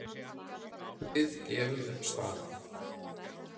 Við gefum upp staðinn.